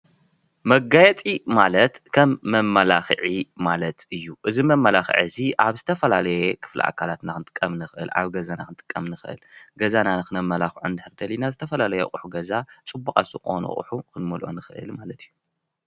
መጋየፂ ማለት ከም መማላክዒ ማለት እዩ፡፡ እዚ መማላክዒ እዚ አብ ዝተፈላለየ ክፈሊ አካላትና ክንጥቀም ንክእል፡፡ አብ ገዛና ክንጥቀም ንክእል፡፡ ገዛና ክነመላክዖ እንድሕር ደሊና ዝተፈላለየ አቑሑ ገዛ ፅቡቃት ዝኮኑ አቑሑ ክንመልኦ ንክእል ማለት እዩ፡፡